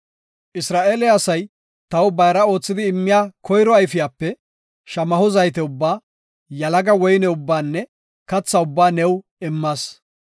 “Isra7eele asay taw bayra oothidi immiya koyro ayfiyape, shamaho zayte ubbaa, yalaga woyne ubbaanne katha ubbaa new immas.